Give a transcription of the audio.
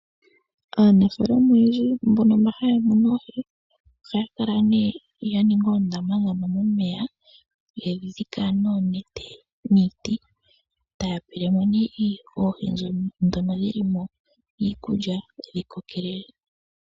Aanafaalama oyendji mbono mba haya munu oohi ohaya kala nee ya ninga oondama ndhono momeya yedhi dhika noonete niiti taya pele mo nee oohi ndhoka dhili mo iikulya omo dhikokele.